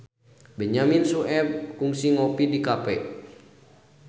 Benyamin Sueb kungsi ngopi di cafe